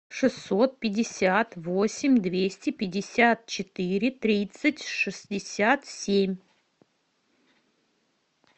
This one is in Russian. шестьсот пятьдесят восемь двести пятьдесят четыре тридцать шестьдесят семь